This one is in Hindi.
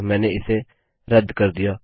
मैंने इसे रद्दकैन्सल कर दिया